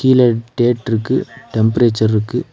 இதுல டேட்ருக்கு டெம்பரேச்சர்ருக்கு .